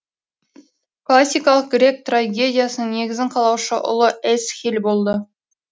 классикалық грек трагедиясының негізін қалаушы ұлы эсхил болды